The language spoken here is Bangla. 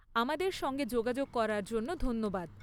আমাদের সঙ্গে যোগাযোগ করার জন্য ধন্যবাদ।